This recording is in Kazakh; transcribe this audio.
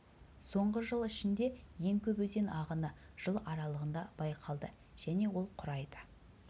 соңғы жыл ішінде ең көп өзен ағыны жыл аралығында байқалды және ол құрайды